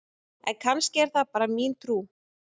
en kannski er það bara mín trú!